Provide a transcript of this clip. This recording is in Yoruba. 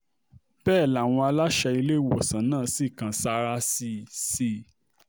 bẹ́ẹ̀ làwọn aláṣẹ iléèwé náà sì kan sáárá sí sí i